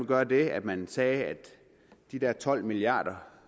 gøre det at man sagde at de der tolv milliard kr